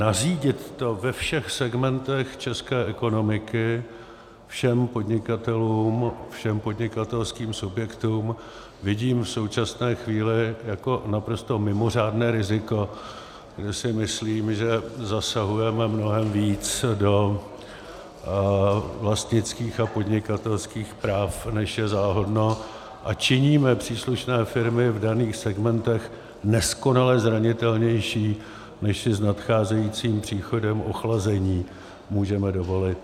Nařídit to ve všech segmentech české ekonomiky všem podnikatelům, všem podnikatelským subjektům, vidím v současné chvíli jako naprosto mimořádné riziko, kde si myslím, že zasahujeme mnohem víc do vlastnických a podnikatelských práv, než je záhodno, a činíme příslušné firmy v daných segmentech neskonale zranitelnější, než si s nadcházejícím příchodem ochlazení můžeme dovolit.